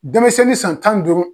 Denmisɛnnin san tan NI duuru.